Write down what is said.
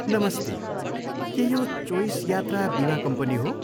नमस्ते, के यो चोइस यात्रा बिमा कम्पनी हो?